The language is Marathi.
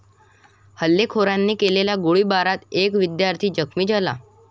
हल्लेखोरांने केलेल्या गोळीबारात एक विद्यार्थी जखमी झाला.